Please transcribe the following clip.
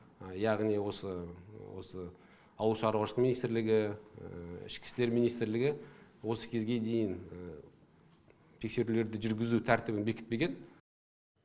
яғни осы осы ауыл шаруашылығы министрлігі ішкі істер министрлігі осы кезге дейін тексерулерді жүргізу тәртібін бекітпеген